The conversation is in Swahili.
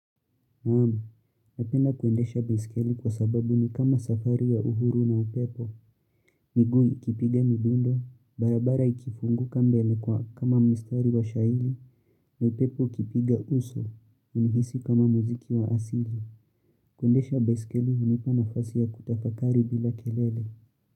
Naam, napenda kuendesha baiskeli kwa sababu ni kama safari ya uhuru na upepo, miguu ikipiga midundo, barabara ikifunguka mbele kwa kama mistari wa shahiri na upepo ukipiga uso, unihisi kama muziki wa asili. Kuendesha baiskeli hunipa nafasi ya kutafakari bila kelele.